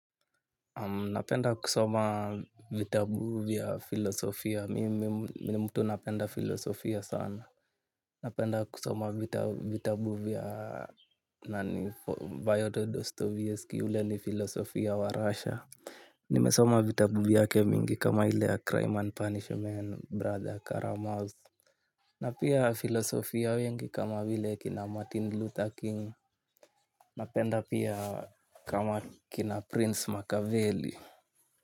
Na penda kusoma vitabuvya filosofia mimini mtu napenda filosofia sana. Na penda kusoma vitabuvya nani Bayoto Dostoevsky yule ni filosofia wa Russia. Ni mesoma vitabuvyake mingi kama ile ya crime and punishment brother caramouse. Na pia filosofia wengi kama vile kina martin luther king. Na penda pia kama kina prince macaveli.